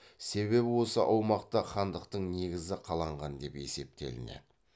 себебі осы аумақта хандықтың негізі қаланған деп есептелінеді